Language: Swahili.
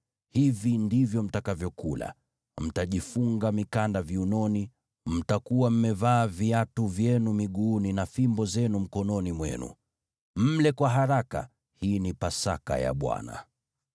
Hivi ndivyo mtakavyokula: Mtajifunga mikanda viunoni, mtakuwa mmevaa viatu vyenu miguuni na kushika fimbo zenu mkononi mwenu. Mle kwa haraka; hii ni Pasaka ya Bwana .